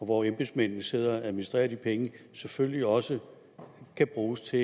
hvor embedsmændene sidder og administrerer de penge selvfølgelig også kan bruges til